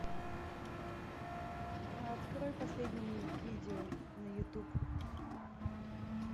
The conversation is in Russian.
открой последние видео на ютуб